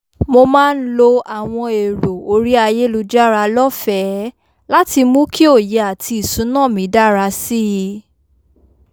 mo máa ń lo àwọn èrò orí ayélujára lọ́fẹ̀ẹ́ láti mú kí òye àti ìsúná mi dára sí i